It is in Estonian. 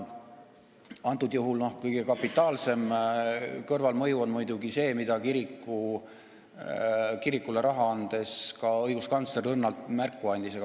Antud juhul on kõige kapitaalsem kõrvalmõju muidugi see, millest kirikule raha andmisest rääkides ka õiguskantsler õrnalt märku andis.